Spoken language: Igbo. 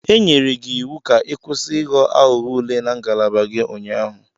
E nyere gị iwu ka ị kwụsị Ị ghọ aghụghọ ule na ngalaba gị ụnyaahụ!